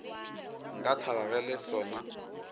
nka thaba ge le sona